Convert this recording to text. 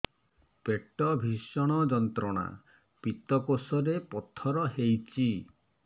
ପେଟ ଭୀଷଣ ଯନ୍ତ୍ରଣା ପିତକୋଷ ରେ ପଥର ହେଇଚି